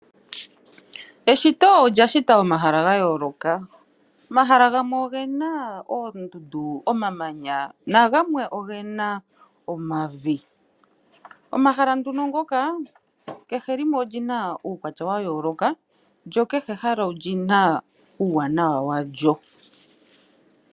Eshito olyashita omahala gayooloka omahala gamwe ogena oondundu nomamanya nogamwe ogena omavi. Omahala nduno ngoka kehe limwe olina uukwatya wayooloka lo kehe ehala olina uuwanawa walyo.